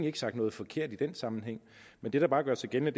ikke sagt noget forkert i den sammenhæng men det der bare gør sig gældende